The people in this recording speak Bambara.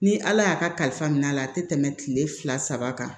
Ni ala y'a kalifa minɛ a la a tɛ tɛmɛ kile fila saba kan